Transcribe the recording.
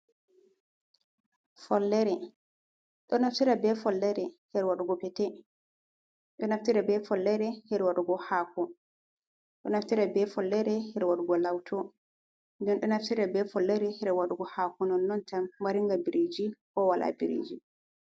Follere, ɗo naftira ba follere her waɗugo petted ɗo naftira be follere her waɗugo hako, ɗo naftira be follere her waɗugo lawto ɗon naftire be follere her waɗugo hako nonnon tan maringa biriji ko wala biriji.